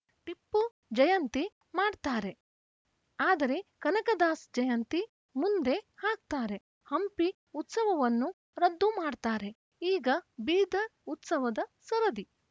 ಟಿಪ್ಪು ಜಯಂತಿ ಮಾಡ್ತಾರೆ ಆದರೆ ಕನಕದಾಸ ಜಯಂತಿ ಮುಂದೆ ಹಾಕ್ತಾರೆ ಹಂಪಿ ಉತ್ಸವವನ್ನೂ ರದ್ದು ಮಾಡ್ತಾರೆ ಈಗ ಬೀದರ್‌ ಉತ್ಸವದ ಸರದಿ